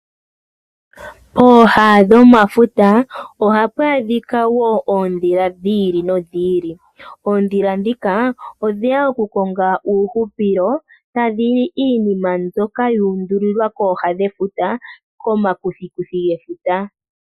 Pooha dhomafuta ohapu adhika woo oondhila dhi ili nodhi ili . Oondhila ndhika odheya oku konga uuhupilo tadhili iinima mbyoka yu undulilwa kooha dhefuta komakuthikuthi gafuta